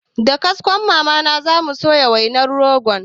Da kaskon mama na zamu soya wainar rogon